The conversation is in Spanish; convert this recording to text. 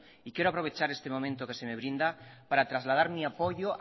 quiero aprovechar este momento que se me brinda para trasladar mi apoyo